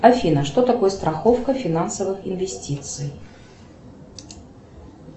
афина что такое страховка финансовых инвестиций